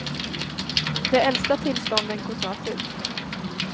De äldsta tillstånden går snart ut.